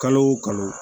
Kalo o kalo